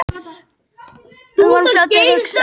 Við vorum fljótir að hugsa.